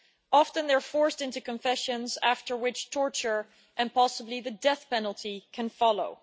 Often they are forced into confessions, after which torture and possibly the death penalty can follow.